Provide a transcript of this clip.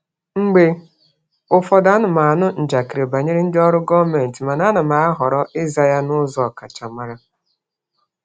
Mgbe ụfọdụ, ana m anụ njakịrị banyere ndị ọrụ gọọmentị mana m na-ahọrọ ịza ya n'ụzọ ọkachamara.